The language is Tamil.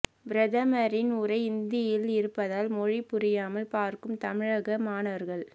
பிரதமரின் உரை இந்தியில் இருப்பதால் மொழி புரியாமல் பார்க்கும் தமிழக மாணவர்கள்